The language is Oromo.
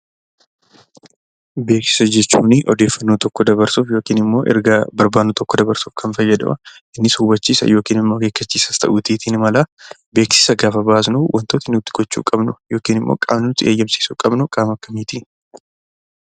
Beeksisa jechuun odeeffannoo tokko dabarsuuf yookiin ergaa barbaannu tokko dabarsuuf kan fayyadudha. Innis hubachiisa yookiin immoo akeekkachiisas ta'uutii ni mala. Beeksisa gaafa baasnu wantooti nuti gochuu qabnu yookiin qaamni nuti eeyyamsiisuu qabnu qaama akkamiitii?